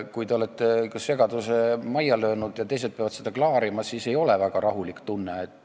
Kui te olete segaduse majja löönud ja teised peavad seda klaarima, siis ei ole väga rahulik tunne.